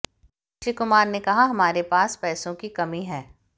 अक्षय कुमार ने कहा हमारे पास पैसों की कमी है